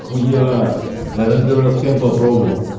хуя я там первый раз фен попробовал